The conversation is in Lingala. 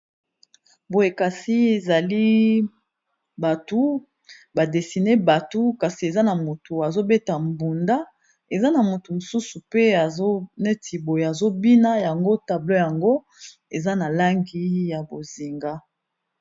Boyekasi ezali batu badesine batu kasi eza na motu azobeta mbunda, eza na motu mosusu pe azoneti boye azobina yango tablo yango eza na langi ya bozinga.